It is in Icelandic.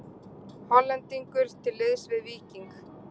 Hollendingur til liðs við Víking